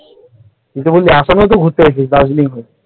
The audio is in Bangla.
তুই তো বললি আসামেও ঘুরতে গিয়েছিলিস দার্জিলিং হয়ে ।